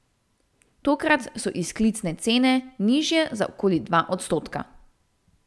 Tokrat so izklicne cene nižje za okoli dva odstotka.